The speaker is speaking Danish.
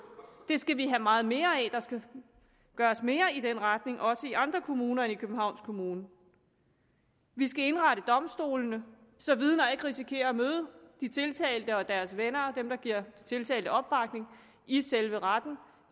skal vi have meget mere af der skal gøres mere i den retning og også i andre kommuner end københavns kommune vi skal indrette domstolene så vidner ikke risikerer at møde de tiltalte og deres venner og dem der giver tiltalte opbakning i selve retten